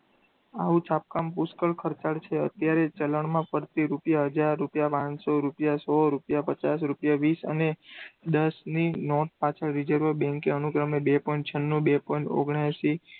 આવું છાપવાનું પુષ્કળ ખર્ચાળ છે. અત્યારે ચરણમાં ફરતી રૂપિયા હજાર, રૂપિયા પાંચસો, રૂપિયા સો, રૂપિયા પચાસ, રૂપિયા વીસ, અને દસ ની નોટ પાછળ રિઝર્વ બેંકે અનુક્રમે બે point છન્નું, બે point ઓગણેસી,